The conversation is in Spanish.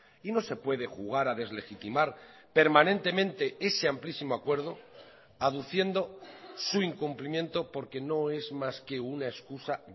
y no se puede jugar a deslegitimar permanentemente ese amplísimo acuerdo aduciendo su incumplimiento porque no es más que una excusa